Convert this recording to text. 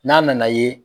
N'a nana ye